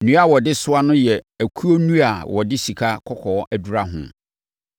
Nnua a na wɔde soa no yɛ okuo nnua a wɔde sikakɔkɔɔ adura ho.